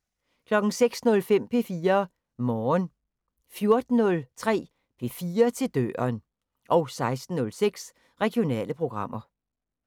06:05: P4 Morgen 14:03: P4 til døren 16:06: Regionale programmer